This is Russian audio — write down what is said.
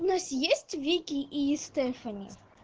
у нас есть вики и стефани